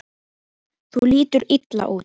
Þú lítur illa út